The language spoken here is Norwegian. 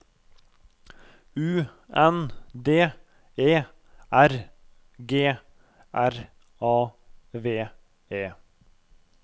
U N D E R G R A V E